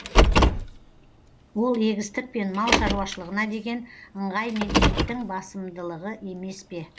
ол егістік пен мал шаруашылығына деген ыңғай мен ептің басымдылығы емес пе